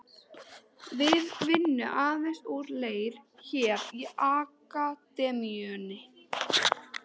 Við vinnum aðeins úr leir hér í Akademíunni.